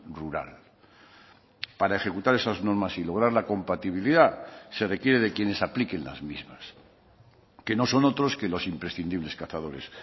rural para ejecutar esas normas y lograr la compatibilidad se requiere de quienes apliquen las mismas que nos son otros que los imprescindibles cazadores